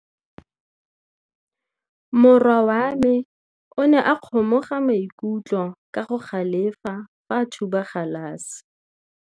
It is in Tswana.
Morwa wa me o ne a kgomoga maikutlo ka go galefa fa a thuba galase.